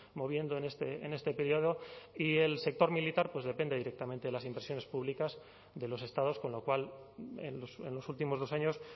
moviendo en este período y el sector militar pues depende directamente de las inversiones públicas de los estados con lo cual en los últimos dos años